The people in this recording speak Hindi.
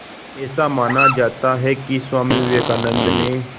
ऐसा माना जाता है कि स्वामी विवेकानंद ने